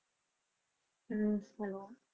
ਹੁੰ hello